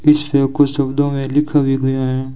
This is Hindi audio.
कुछ शब्दों में लिख भी गया हैं।